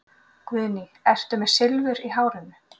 Guðný: Ertu með Silfur í hárinu?